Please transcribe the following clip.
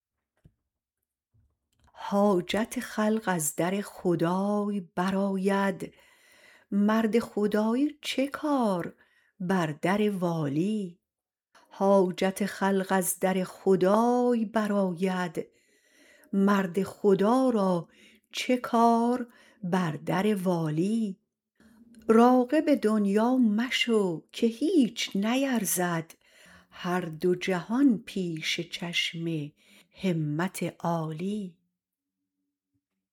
حاجت خلق از در خدای برآید مرد خدایی چکار بر در والی راغب دنیا مشو که هیچ نیرزد هر دو جهان پیش چشم همت عالی